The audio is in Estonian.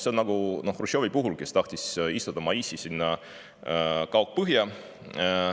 Samuti oli Hruštšovi puhul, kes tahtis istutada maisi Kaug-Põhja.